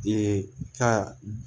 Ee ka